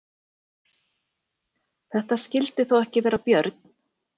Þetta skyldi þó ekki vera björn?